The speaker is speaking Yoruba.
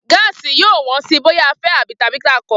Gáàsì yóò wọ́n sí bóyá a fẹ́ tàbí a kọ̀